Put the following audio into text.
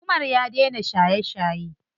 Umar ya dena shaye shaye.